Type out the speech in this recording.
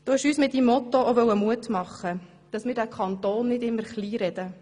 Du wolltest uns mit deinem Motto auch Mut machen, diesen Kanton nicht immer kleinzureden.